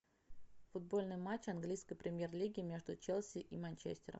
футбольный матч английской премьер лиги между челси и манчестером